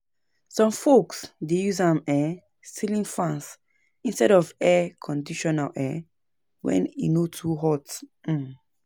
Some folks dey use um ceiling fans instead of air conditioning um when e no too hot. um